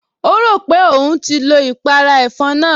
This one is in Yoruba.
O rò pé òun ti lo ìpàrà ẹ̀fọn náà